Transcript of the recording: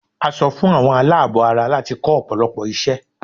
A sọ fún àwọn aláàbọ̀ ara láti kọ́ ọ̀pọ̀lọpọ̀ iṣẹ́